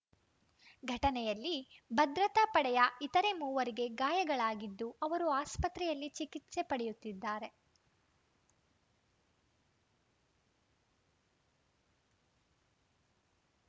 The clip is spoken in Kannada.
ಘಟನೆಯಲ್ಲಿ ಭದ್ರತಾ ಪಡೆಯ ಇತರೆ ಮೂವರಿಗೆ ಗಾಯಗಳಾಗಿದ್ದು ಅವರು ಆಸ್ಪತ್ರೆಯಲ್ಲಿ ಚಿಕಿತ್ಸೆ ಪಡೆಯುತ್ತಿದ್ದಾರೆ